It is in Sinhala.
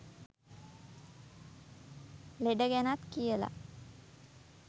ලෙඩ ගැනත් කියලා